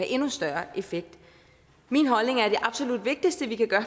endnu større effekt min holdning er at det absolut vigtigste vi kan gøre